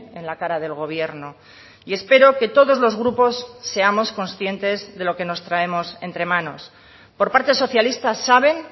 en la cara del gobierno y espero que todos los grupos seamos conscientes de lo que nos traemos entre manos por parte socialista saben